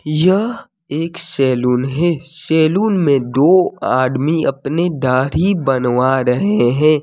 यह एक सैलून है सैलून मे दो आदमी अपनी दाढ़ी बनवा रहें हैं।